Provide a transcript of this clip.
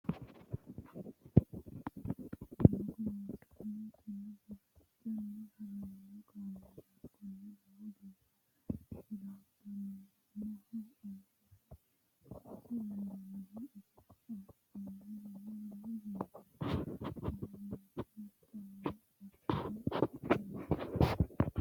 Doogo loosanni ki'na fafacani harano kaameelati kuni lowo geeshsha hirattamoho ayeere loosa dandaanoho iso oofanorino lowo geeshsha wolqanna ogima affidhinoreti.